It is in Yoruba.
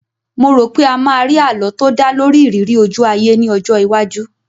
Mo rò pé a máa rí àlọ́ tó dá lórí ìrírí ojú-ayé ní ọjọ́ iwájú